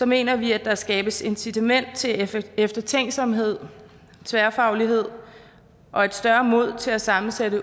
mener vi at der skabes incitament til eftertænksomhed tværfaglighed og et større mod til at sammensætte